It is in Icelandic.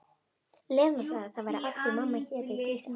Lena sagði að það væri af því mamma héti Dísa.